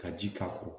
Ka ji k'a kɔrɔ